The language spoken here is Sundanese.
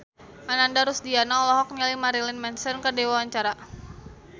Ananda Rusdiana olohok ningali Marilyn Manson keur diwawancara